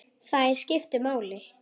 Þær skiptu máli.